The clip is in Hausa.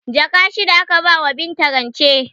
Jaka shida aka bawa Binta rance